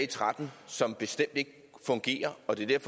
tretten som bestemt ikke fungerer og det er